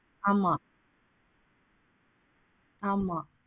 ஆமா ஆமா